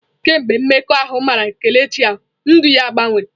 Kemgbe mmekọahụ mara Kelechi ahụ, ndụ ya gbanwere.